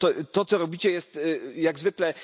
To, co robicie, jest jak zwykle...